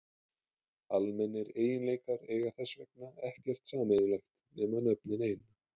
Almennir eiginleikar eiga þess vegna ekkert sameiginlegt nema nöfnin ein.